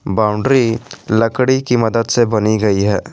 Boundary लकड़ी की मदद से बनी गई है।